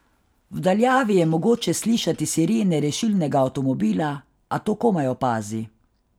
V daljavi je mogoče slišati sirene rešilnega avtomobila, a to komaj opazi.